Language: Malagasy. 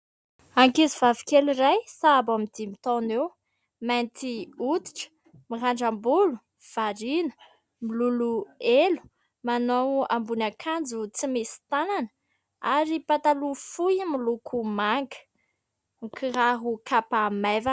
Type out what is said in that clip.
Ankizy vavikely iray sahabo eo amin'ny dimy taona eo, mainty hoditra, mirandram-bolo ; variana miloloha elo. Manao ambonin'akanjo tsy misy tanana, ary pataloha fohy miloko manga, kiraro kapa maivana.